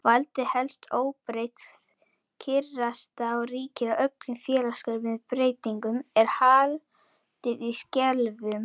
Valdið helst óbreytt, kyrrstaða ríkir og öllum félagslegum breytingum er haldið í skefjum.